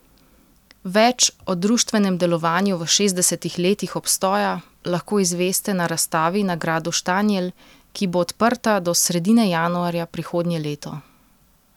Več o društvenem delovanju v šestdesetih letih obstoja lahko izveste na razstavi na gradu Štanjel, ki bo odprta do sredine januarja prihodnje leto.